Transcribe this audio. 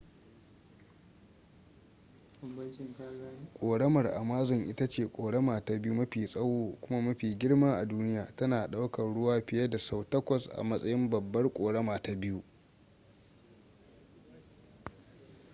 ƙoramar amazon ita ce ƙorama ta biyu mafi tsawo kuma mafi girma a duniya tana ɗaukar ruwa fiye da sau 8 a matsayin babbar ƙorama ta biyu